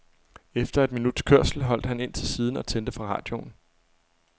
Efter et minuts kørsel holdt han ind til siden og tændte for radioen.